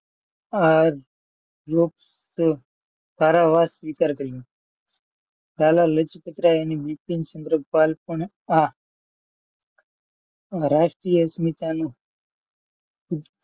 કારાવાસ સ્વીકાર કરું, લાલા લજપતરાય અને બિપિનચંદ્ર પાલ પર આ રાષ્ટ્રીય